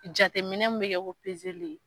Jateminɛ min bɛ kɛ ko pezeli ye